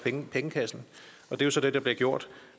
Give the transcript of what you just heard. pengekassen og det er så det der bliver gjort